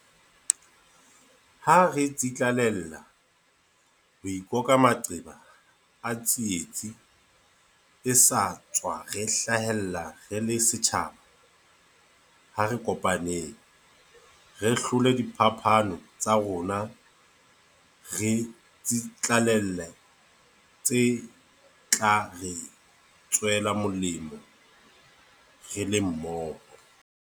Ha re tsitlallela ho ikoka maqeba a tsietsi e sa tswa re hlahela re le setjhaba, ha re kopaneng. Re hlole diphapano tsa rona re tsitlallele tse tla re tswela molemo re le mmoho.